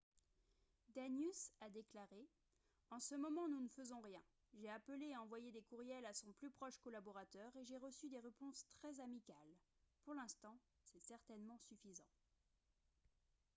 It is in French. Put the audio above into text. danius a déclaré :« en ce moment nous ne faisons rien. j'ai appelé et envoyé des courriels à son plus proche collaborateur et j'ai reçu des réponses très amicales. pour l'instant c'est certainement suffisant. »